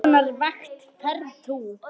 Á hvers konar vakt ferðu?